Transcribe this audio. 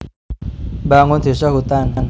Membangun Désa Hutan